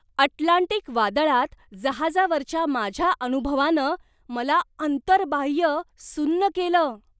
Atlantic वादळात जहाजावरच्या माझ्या अनुभवानं मला अंतर्बाह्य सुन्न केलं!